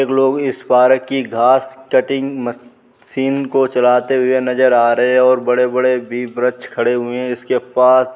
एक लोग इस पारक की घास कटिंग मशीन को चलाते हुए नजर आ रहे है ओर बड़े-बड़े भी विरक्ष खड़े हुए है इसके पास।